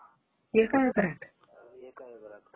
एक एकरात?